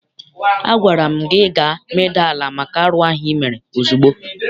Agwara m gị gaa medaa ala maka arụ ahụ ị mere ozugbo!